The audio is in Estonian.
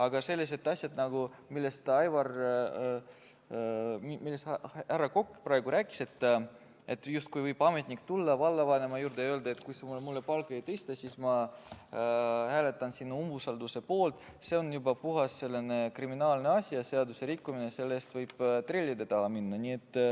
Aga sellised asjad, millest härra Aivar Kokk praegu rääkis, justkui võib ametnik tulla vallavanema juurde ja öelda, et kui sa mul palka ei tõsta, siis ma hääletan sinu umbusaldamise poolt, on juba puhas kriminaalne asi ja seaduserikkumine, selle eest võib trellide taha minna.